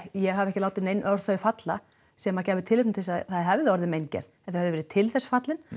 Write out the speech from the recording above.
ég hafi ekki látið nein orð falla sem gæfu tilefni til þess að það hefði orðið meingerð en þau hafi verið til þess fallin